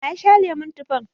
Wa ya sha lemon tufan?